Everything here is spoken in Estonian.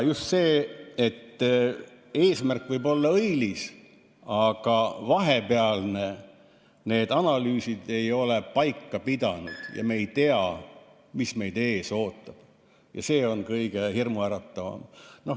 Just see, et eesmärk võib olla õilis, aga vahepealne, need analüüsid, ei ole paika pidanud ja me ei tea, mis meid ees ootab, on kõige hirmuäratavam.